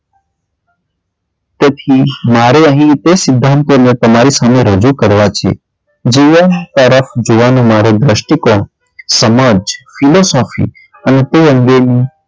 તેથી મારે અહીં રીતે સિધ્ધાંતોને તમારી સામે રજુ કરવા છે જીવન પરત જોવાનો મારે ધ્રષ્ટિકોણ, સમજ philosophy અને તે અંગેની,